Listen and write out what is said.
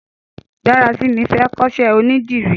Darasimi fè kọṣẹ ónìdìrí